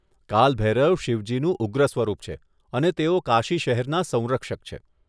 કાલ ભૈરવ શિવજીનું ઉગ્ર સ્વરૂપ છે અને તેઓ કાશી શહેરના સંરક્ષક છે.